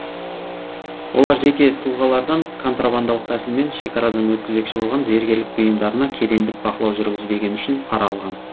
олар жеке тұлғалардан контрабандалық тәсілмен шекарадан өткізбекші болған зергерлік бұйымдарына кедендік бақылау жүргізбегені үшін пара алған